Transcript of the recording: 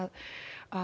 að